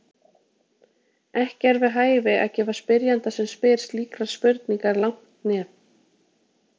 Ekki er við hæfi að gefa spyrjanda sem spyr slíkrar spurningar langt nef.